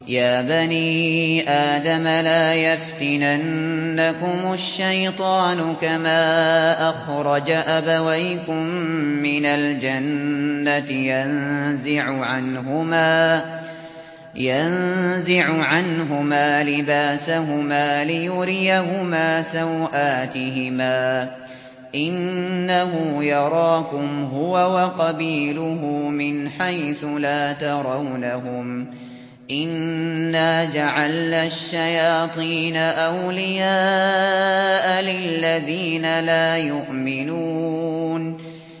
يَا بَنِي آدَمَ لَا يَفْتِنَنَّكُمُ الشَّيْطَانُ كَمَا أَخْرَجَ أَبَوَيْكُم مِّنَ الْجَنَّةِ يَنزِعُ عَنْهُمَا لِبَاسَهُمَا لِيُرِيَهُمَا سَوْآتِهِمَا ۗ إِنَّهُ يَرَاكُمْ هُوَ وَقَبِيلُهُ مِنْ حَيْثُ لَا تَرَوْنَهُمْ ۗ إِنَّا جَعَلْنَا الشَّيَاطِينَ أَوْلِيَاءَ لِلَّذِينَ لَا يُؤْمِنُونَ